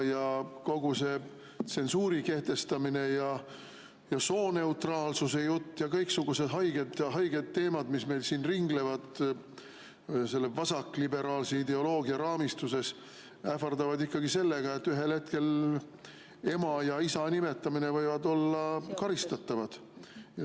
Kogu see tsensuuri kehtestamine ja sooneutraalsuse jutt ja kõiksugused haiged teemad, mis meil siin ringlevad selle vasakliberaalse ideoloogia raamistuses, ähvardavad ikkagi sellega, et ühel hetkel võib ema ja isa nimetamine olla karistatav.